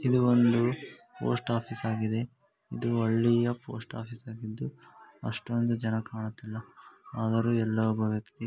ಇದು ಒಂದು post office ಆಗಿದೆ ಇದು ಹಳ್ಳಿಯ ಪೋಸ್ಟ್ ಆಫೀಸ್ ಆಗಿದ್ದು ಅಷ್ಟೊಂದು ಜನ ಕಾಣುತಿಲ್ಲ ಆದರು ಯಲ್ಲೊ ಒಬ್ಬ ವ್ಯಕ್ತಿ --